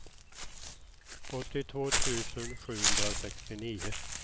åttiotvå tusen sjuhundrasextionio